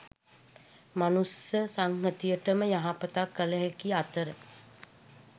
මනුෂ්‍ය සංහතියටම යහපතක් කළ හැකි අතර